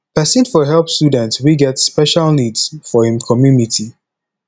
person for help student wey get special needs for im commumity